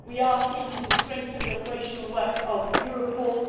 We are seeking to strengthen the operational work of Europol.